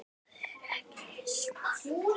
Það er ekki smart.